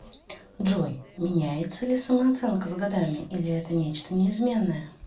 джой меняется ли самооценка с годами или это нечто неизменное